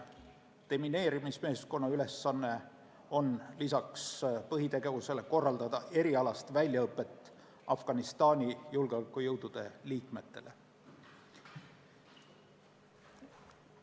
Demineerimismeeskonna ülesanne peale põhitegevuse on korraldada erialast väljaõpet Afganistani julgeolekujõudude liikmetele.